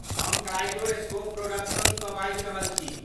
हम कलाइडोस्कोप प्रोडक्शन्ससँ बाजि रहल छी।